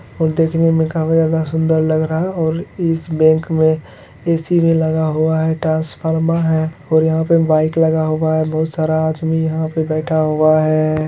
ये देखने में काफी ज्यादा सुंदर लग रहा है और इस बैंक में ए.सी. में लगा हुआ है ट्रैन्स्फॉर्मर है और यहाँ पे बाइक लगा हुआ है बहुत सारा आदमी यहाँ पे बैठा हुआ है।